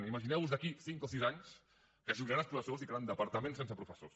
imagineu vos ho d’aquí a cinc o sis anys que es jubilaran els professors i quedaran departaments sense professors